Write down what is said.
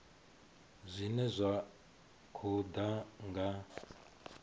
zwine zwa khou ḓa nga